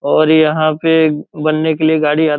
और यहाँ पे बनने के लिए गाड़ी आ --